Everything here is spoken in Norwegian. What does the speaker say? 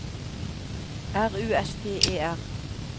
R U S T E R